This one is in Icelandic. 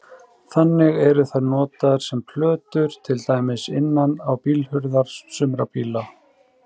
Þannig eru þær notaðar sem plötur til dæmis innan á bílhurðum sumra bíla.